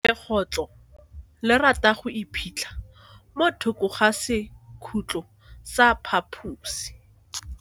Legotlo le rata go iphitlha mo thoko ga sekhutlo sa phaposi.